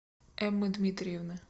эммы дмитриевны